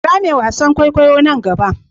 Kira me wasan kwaikwayo na gaba.